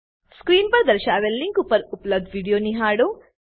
screen પર દર્શાવેલ link પર ઉપલબ્ધ વિડીયો નિહાળો